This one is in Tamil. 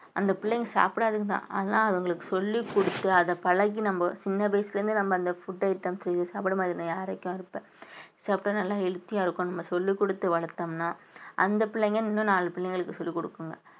அந்த பிள்ளைங்க சாப்பிடாதுங்கதான் ஆனா அதுங்களுக்கு சொல்லிக் கொடுத்து அத பழகி நம்ம சின்ன வயசுல இருந்து நம்ம அந்த food item செய்து சாப்பிட மாட்டேன் நான் யாரைக்கும் சாப்பிட்டா நல்லா healthy ஆ இருக்கும் நம்ம சொல்லிக் கொடுத்து வளர்த்தோம்ன்னா அந்த பிள்ளைங்க இன்னும் நாலு பிள்ளைங்களுக்கு சொல்லிக் கொடுக்குங்க